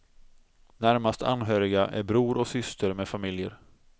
Närmast anhöriga är bror och syster med familjer.